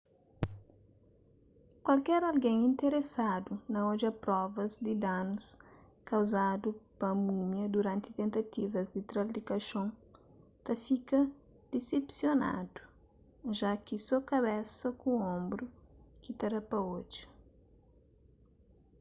kualker algen interesadu na odja provas di danus kauzadu pa múmia duranti tentativas di tra-l di kaxon ta fika disepsionadu ja ki so kabesa ku onbru ki ta da pa odja